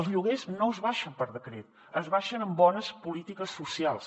els lloguers no s’abaixen per decret s’abaixen amb bones polítiques socials